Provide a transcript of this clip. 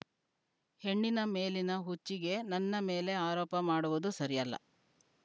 ಹೆಣ್ಣಿನ ಮೇಲಿನ ಹುಚ್ಚಿಗೆ ನನ್ನ ಮೇಲೆ ಆರೋಪ ಮಾಡುವುದು ಸರಿಯಲ್ಲ